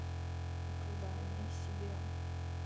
оправдание себе